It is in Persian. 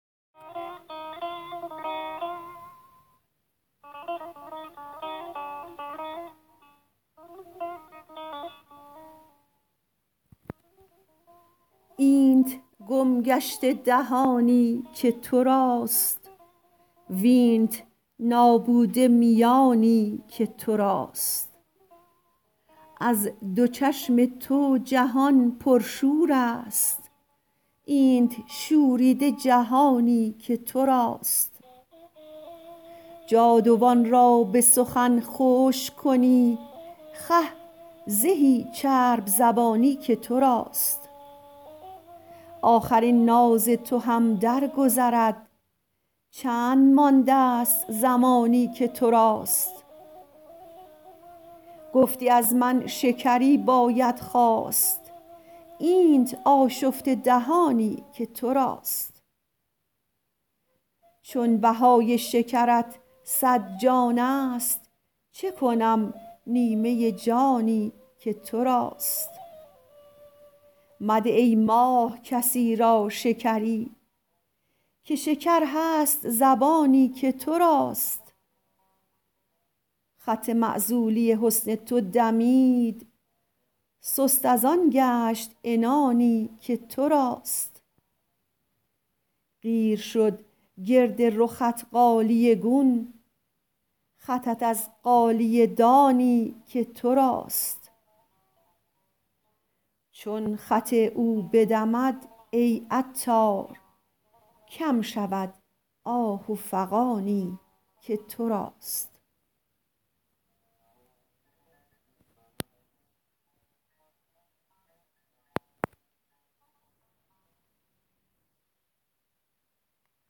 اینت گم گشته دهانی که توراست وینت نابوده میانی که توراست از دو چشم تو جهان پرشور است اینت شوریده جهانی که توراست جادوان را به سخن خشک کنی خه زهی چرب زبانی که توراست آخر این ناز تو هم در گذرد چند مانده است زمانی که توراست گفتی از من شکری باید خواست اینت آشفته دهانی که توراست چون بهای شکرت صد جان است چه کنم نیمه جانی که توراست مده ای ماه کسی را شکری که شکر هست زبانی که توراست خط معزولی حسن تو دمید سست ازآن گشت عنانی که توراست قیر شد گرد رخت غالیه گون خطت از غالیه دانی که توراست چون خط او بدمد ای عطار کم شود آه و فغانی که توراست